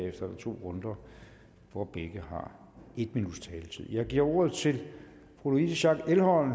er der to runder hvor begge har en minuts taletid jeg giver ordet til fru louise schack elholm